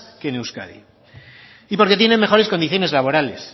que en euskadi y porque tienen mejores condiciones laborales